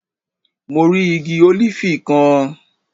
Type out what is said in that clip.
Mo rí igi ólífì kan